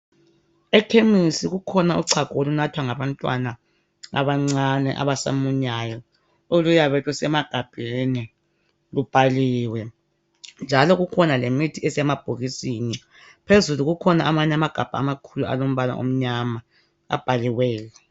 Ekhemisi kukhona uchago olunathwa ngabantwana abancane abasamunyayo oluyabe lusemagabheni lubhaliwe njalo kukhona lemithi esemabhokisini phezulu kukhona amanye amagabha amakhulu alombala omnyama abhaliweyo.